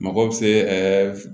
Mago bɛ se